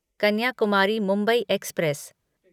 Kanyakumari Mumbai express